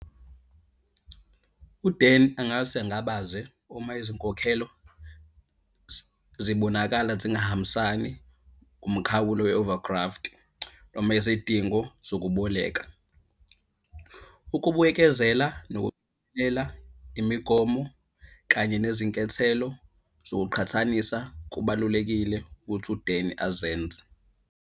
UDan angase angabaze uma izinkokhelo zibonakala zingahambisani kumkhawulo we-overdraft noma izidingo zokuboleka. Ukubuyekezela , imigomo kanye nezinkethelo zokuqhathanisa kubalulekile ukuthi uDan azenze.